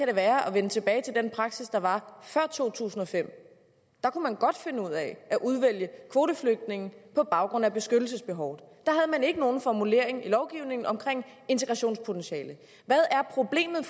det være at vende tilbage til den praksis der var før 2005 der kunne man godt finde ud af at udvælge kvoteflygtninge på baggrund af beskyttelsesbehovet der havde man ikke nogen formulering i lovgivningen om integrationspotentiale hvad er problemet